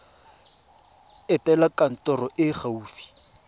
etela kantoro e e gaufi